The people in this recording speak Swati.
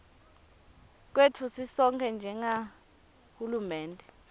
kwetfu sisonkhe njengahulumende